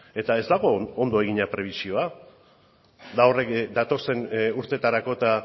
eta ez dago ondo egina prebisioa datozen urteetarako eta